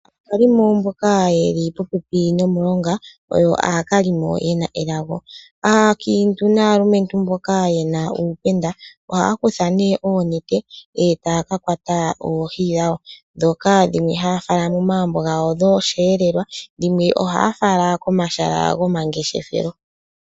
Aakalimo mboka ye li popepi nomulonga oyo aakaalimo ye na elago. Aakiintu naalumentu mboka ye na uupenda ohaa kutha nee oonete e taya ka kwata oohi dhawo. Ndhoka dhimwe haya fala momagumbo gawo dhosheelelwa, dhimwe ohaya fala komahala gomangeshefelo.